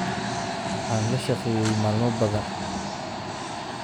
Waxaan la shaqeeyay maalmo badan